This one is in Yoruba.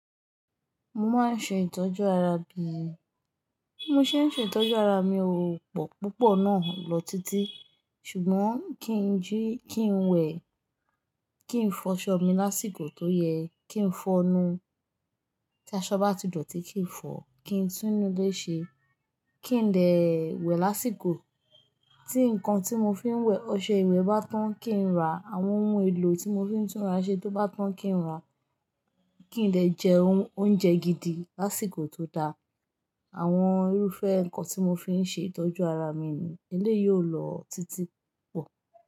Mo máa ń ṣe ìtọ́jú ara mi. Bí mo ṣe ń ṣe ìtọ́jú ara mi ò pọ̀ púpọ̀ náà lọ títí. Ṣùgbọ́n kí n jí, kí n wẹ̀, kí n fọṣọ mi lásìkò tó yẹ, kí n fọnú tí aṣọ bá ti dọ̀tí, kí n fọ, kí n túnú ilé ṣe, kí n dẹ̀ wẹ̀ lásìkò, tí nǹkan tí mo fi ń wẹ̀, ọṣẹ ìwẹ̀ bá tán, kí n rà, àwọn ohun èlò tí mo fi ń túnra ṣe tó bá tán kí n rà, kí n dè jẹ oúnjẹ gidi lásìkò tó dáa, àwọn irúfẹ́ nǹkan tí mo fi ń ṣe ìtọ́jú ara mi ni eléyìí ó lọ títí pọ̀.